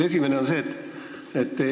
Esimene on see.